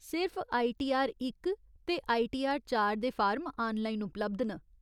सिर्फ आईटीआर इक ते आईटीआर चार दे फार्म आनलाइन उपलब्ध न।